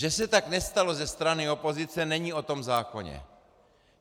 Že se tak nestalo ze strany opozice, není o tom zákoně.